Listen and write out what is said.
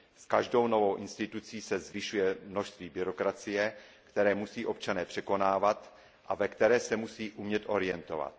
S každou novou institucí se zvyšuje množství byrokracie, které musí občané překonávat a ve které se musí umět orientovat.